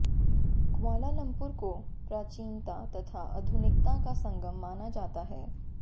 Kuala Lumpur को प्राचीनता तथा आधुनिकता का संगम माना जाता है